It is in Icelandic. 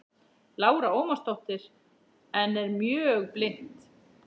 Lára Ómarsdóttir: En er mjög blint?